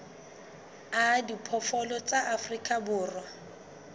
a diphoofolo tsa afrika borwa